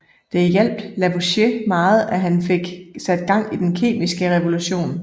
Det hjalp Lavoisier meget og han fik sat gang i den kemiske revolution